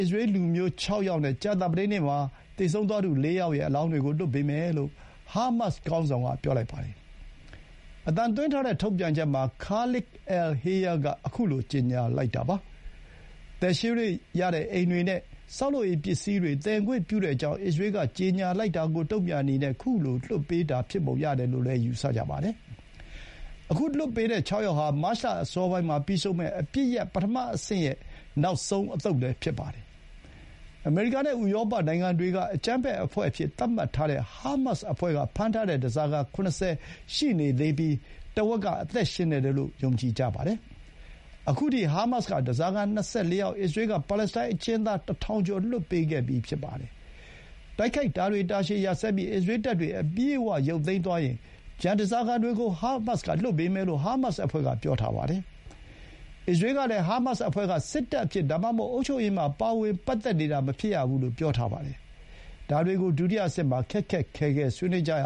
စ္စရေးလ်လူမျိုး ၆ ယောက်နဲ့ ကြာသပတေးနေ့မှာ သေဆုံးသွားသူ ၄ ယောက်ရဲ့ အလောင်းတွေကို ပြန်လွှဲပေးမယ်လို့ ဟားမတ်စ်ခေါင်းဆောင်က ပြောလိုက်ပါတယ်။ အသံသွင်းထားတဲ့ ထုတ်ပြန်ချက်မှာ ခါလစ်လ် အယ် ဟေးယား က ခုလို ကြေညာလိုက်တာပါ။ သယ်ရွှေ့လို့ရတဲ့ အိမ်တွေနဲ့ ဆောက်လုပ်ရေးပစ္စည်းတွေ သယ်ခွင့်ပြုကြောင်း အစ္စရေးလ်က ကြေညာလိုက်တာကို တုန့်ပြန်တဲ့အနေနဲ့ ခုလို လွှတ်ပေးတာ ဖြစ်ပုံရတယ်လို့ ယူဆကြပါတယ်။ ခုလွှတ်ပေးတဲ့ ၆ ယောက်ဟာ မတ်လအစောပိုင်းမှာ ပြီးဆုံးမယ့် အပစ်ရပ် ပထမအဆင့်ရဲ့ နောက်ဆုံးအသုတ်လည်း ဖြစ်ပါတယ်။ အမေရိကန်နဲ့ ဥရောပနိုင်ငံတွေက အကြမ်းဖက်အဖွဲ့အဖြစ် သတ်မှတ်ထားတဲ့ ဟားမတ်စ်အဖွဲ့က ဖမ်းထားတဲ့ ဓားစာခံ ၇၀ ရှိနေသေးပြီး ထက်ဝက်က အသက်ရှင်နေတယ်လို့ ယုံကြည်ကြပါတယ်။ အခုထိ ဟားမတ်စ်က ဓားစာခံ ၂၄ ယောက်၊ အစ္စရေးလ်က ပါလက်စတိုင်းအကျဥ်းသား ၁,၀၀၀ ကျော် လွှတ်ပေးပြီးဖြစ်ပါတယ်။ တိုက်ခိုက်တာတွေ တာရှည်ရပ်စဲပြီး အစ္စရေးလ်တပ်တွေ အပြည့်အဝ ရုပ်သိမ်းသွားရင် ကျန်ဓားစာခံတွေကို ဟားမတ်စ်က လွှတ်ပေးမယ်လို့ ဟားမတ်စ်အဖွဲ့က ပြောပါတယ်။ အစ္စရေးလ်ကလည်း ဟားမတ်စ်အဖွဲ့က စစ်တပ်အဖြစ် ဒါမှမဟုတ် အုပ်ချုပ်ရေးမှာ ပါဝင်နေတာ မဖြစ်ရဘူးလို့ ပြောပါတယ်။ ဒါတွေကို ဒုတိယအဆင့်မှာ ခက်ခက်ခဲခဲ ဆွေးနွေးကြရ